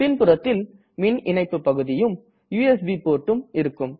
பின்புறத்தில் மின் இணைப்பு பகுதியும் யுஎஸ்பி portம் இருக்கும்